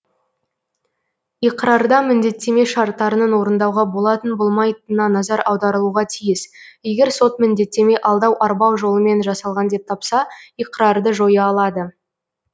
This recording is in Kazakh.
иқрарда міндеттеме шарттарының орындауға болатын болмайтынына назар аударылуға тиіс егер сот міндеттеме алдау арбау жолымен жасалған деп тапса иқрарды жоя алады